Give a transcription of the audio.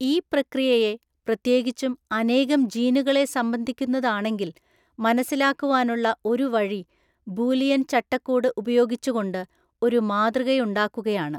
ഈ പ്രക്രിയയെ, പ്രത്യേകിച്ചും അനേകം ജീനുകളെ സംബന്ധിക്കുന്നതാണെങ്കിൽ, മനസ്സിലാക്കുവാനുള്ള ഒരുവഴി ബൂലിയൻ ചട്ടക്കൂട് ഉപയോഗിച്ചുകൊണ്ട് ഒരു മാതൃകയുണ്ടാക്കുകയാണ്.